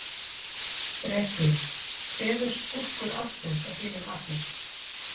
Breki: Hver er skúrkur ársins að þínu mati?